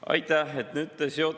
Aitäh!